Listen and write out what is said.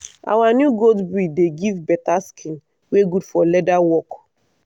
our new goat breed dey give better skin wey good for leather work.